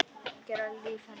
Gera líf hennar að engu.